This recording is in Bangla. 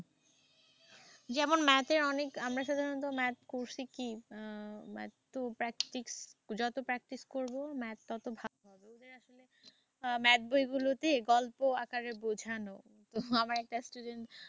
যেমন math এর অনেক আমরা সাধারনত math করসি কি math যত practice করব math তত ভালো হবে। math বইগুলোতে গল্প আকারে বোঝানো। আমার একটা student